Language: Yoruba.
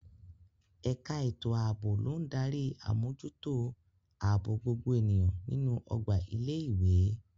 Ẹ̀ka ètò ààbò ló ń darí àmójútó ààbò gbogbo ènìyàn nínú ọgbà ilé ìwé.